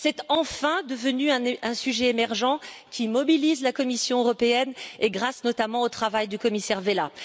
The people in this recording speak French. C'est enfin devenu un sujet émergent qui mobilise la Commission européenne, grâce notamment au travail du commissaire Vella.